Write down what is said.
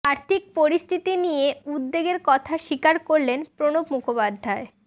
আর্থিক পরিস্থিতি নিয়ে উদ্বেগের কথা স্বীকার করলেন প্রণব মুখোপাধ্যায়